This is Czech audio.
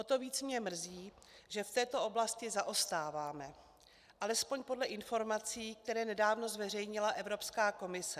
O to víc mě mrzí, že v této oblasti zaostáváme, alespoň podle informací, které nedávno zveřejnila Evropská komise.